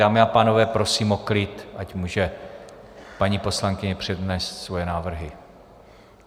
Dámy a pánové, prosím o klid, ať může paní poslankyně přednést svoje návrhy.